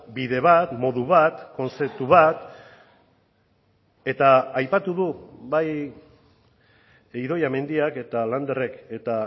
bide bat modu bat kontzeptu bat eta aipatu du bai idoia mendiak eta landerrek eta